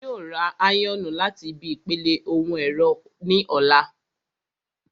Ṣẹ́gun yóò ra áyọ̀nù láti ibi ìpele ohun ẹ̀rọ ní ọ̀la